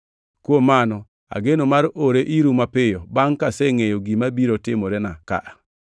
Kuom mano ageno mar ore iru mapiyo bangʼ kasengʼeyo gima biro timorena ka.